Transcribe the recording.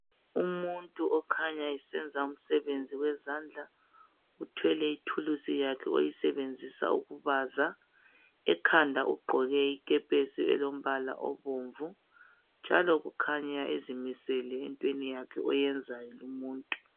Umuntu okhanya esenza umsebenzi wezandla uthwele ithulusi lakhe alisebenzisa ukubaza ekhanda ugqoke ikepesi elombala obomvu njalo kukhanya ezimisele entweni yakhe ayenzayo lumumntu.